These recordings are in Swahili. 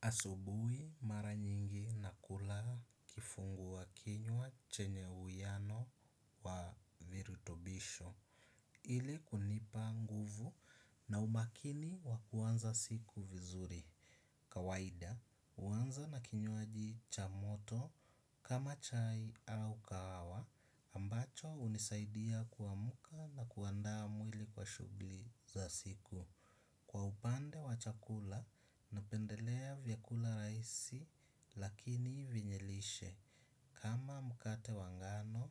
Asubuhi mara nyingi nakula kifungua kinywa chenye uwiano wa virutubisho. Ili kunipa nguvu na umakini wa kuanza siku vizuri. Kawaida, huanza na kinywaji cha moto kama chai au kahawa ambacho hunisaidia kuamka na kuandaa mwili kwa shugli za siku. Kwa upande wa chakula, napendelea vyakula rahisi lakini vyenye lishe. Kama mkate wa ngano,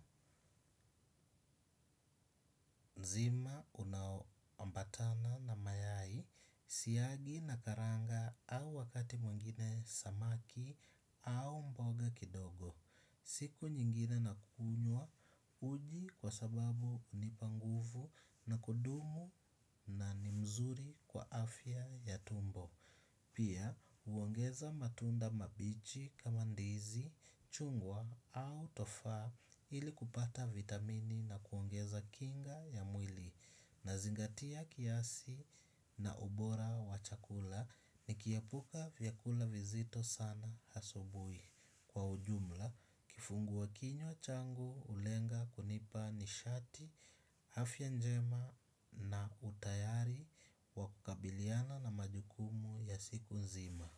nzima unaoambatana na mayai, siagi na karanga au wakati mwengine samaki au mboga kidogo. Siku nyingine nakunywa uji kwa sababu hunipa nguvu na kudumu na ni mzuri kwa afya ya tumbo. Pia huongeza matunda mabichi kama ndizi, chungwa au tofaa ili kupata vitamini na kuongeza kinga ya mwili nazingatia kiasi na ubora wa chakula nikiepuka vyakula vizito sana asubui. Kwa ujumla kifungua kinywa changu hulenga kunipa nishati afya njema na utayari wa kukabiliana na majukumu ya siku nzima.